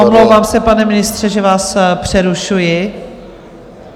Omlouvám se, pane ministře, že vás přerušuji.